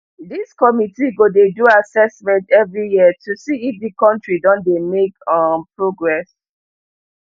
dis committee go dey do assessment every year to see if di kontri don dey make um progress